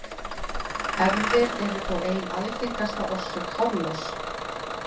Erfðir eru þó ein algengasta orsök hárloss.